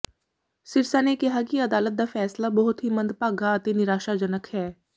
ਸਿਰਸਾ ਨੇ ਕਿਹਾ ਕਿ ਅਦਾਲਤ ਦਾ ਫੈਸਲਾ ਬਹੁਤ ਹੀ ਮੰਦਭਾਗਾ ਅਤੇ ਨਿਰਾਸ਼ਾਜਨਕ ਹੈ